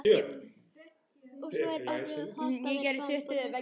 Og svo er okkur öllum hollt að vera, svaraði bóndinn.